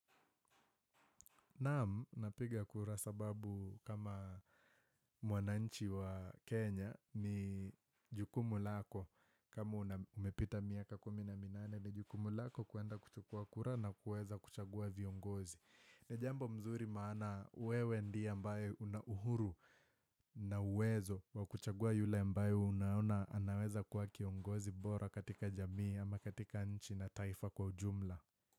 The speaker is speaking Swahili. Naaam, napiga kura sababu kama mwananchi wa Kenya ni jukumu lako. Kama umepita miaka kumi na minane ni jukumu lako kuanda kuchukua kura na kuweza kuchagua viongozi. Nijambo mzuri maana wewe ndie ambae una uhuru na uwezo wa kuchagua yule mbae unaona anaweza kua kiongozi bora katika jamii ama katika nchi na taifa kwa ujumla.